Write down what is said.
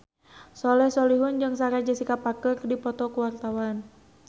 Soleh Solihun jeung Sarah Jessica Parker keur dipoto ku wartawan